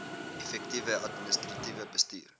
effektiewe administratiewe bestuur